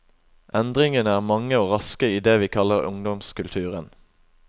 Endringene er mange og raske i det vi kaller ungdomskulturen.